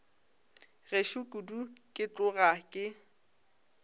gešo kudu ke tloga ke